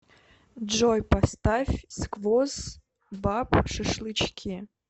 джой поставь сквоз баб шашлычки